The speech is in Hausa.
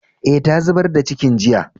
Eh, ta zubar da cikin jiya.